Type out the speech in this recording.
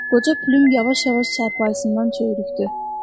Qoca Pülüm yavaş-yavaş çarpayısından çəvirikdi.